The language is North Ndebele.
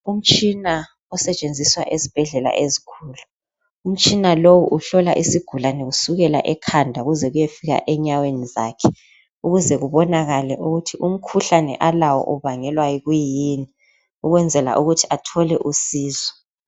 Umtshina osetshenziswa ezibhedlela ezikhulu Umtshina lowu uhlola isigulani kusukela ekhanda ukuze kuyefika enyaweni zakhe . Ukuze kubonakale ukuthi umkhuhlane alawo ubangelwa yi kuyini ukwenzela ukuthi athole usizo .